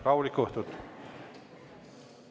Rahulikku õhtut!